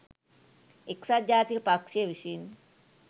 එක්සත් ජාතික පක්ෂය විසින්